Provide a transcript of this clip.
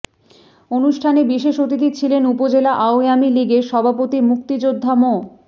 অনুষ্ঠানে বিশেষ অতিথি ছিলেন উপজেলা আওয়ামী লীগের সভাপতি মুক্তিযোদ্ধা মো